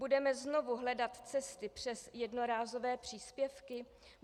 Budeme znovu hledat cesty přes jednorázové příspěvky?